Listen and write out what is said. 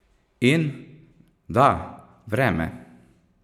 In, da, vreme!